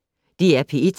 DR P1